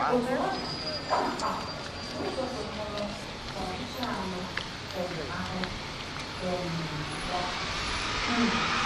Otú ọ dị, ọ ‘na-akpa àgwà n’ụzọ kwekọrọ n’ọchịchọ anụ um ahụ um ya.’ um